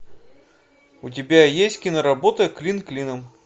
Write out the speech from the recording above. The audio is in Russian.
у тебя есть киноработа клин клином